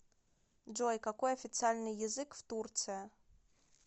джой какой официальный язык в турция